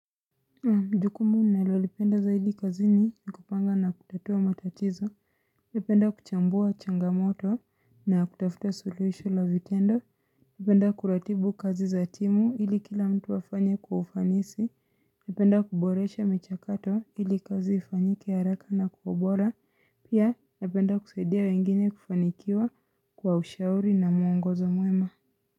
Njukumu nalolipenda zaidi kazini ni kupanga na kutatua matatizo Napenda kuchambua changamoto na kutafuta suluhisho la vitendo Napenda kuratibu kazi za timu hili kila mtu afanye kwa ufanisi Napenda kuboresha michakato hili kazi ifanyike haraka na kwa ubora Pia napenda kusaidia wengine kufanikiwa kwa ushauri na mwongozo mwema.